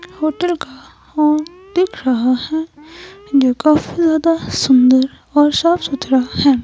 Hotel का और दिख रहा है जो काफी ज्यादा सुंदर और साफ सुथरा है।